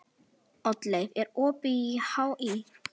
Oddleif, er opið í HÍ?